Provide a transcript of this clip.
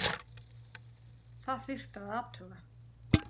Það þyrfti að athuga????